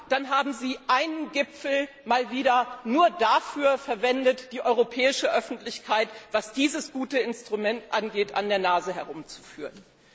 tun, dann haben Sie einen Gipfel mal wieder nur dafür verwendet, die europäische Öffentlichkeit, was dieses gute Instrument angeht, an der Nase herumzuführen.